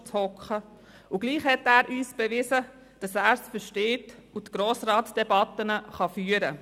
Und trotzdem hat er uns beweisen, dass er es versteht, Grossratsdebatten zu führen.